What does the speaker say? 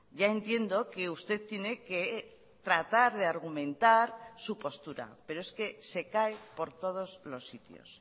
ya entiendo que usted tiene que tratar de argumentar su postura pero es que se cae por todos los sitios